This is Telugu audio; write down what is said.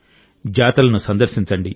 జాతరలను సందర్శించండి